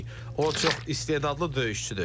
O çox istedadlı döyüşçüdür.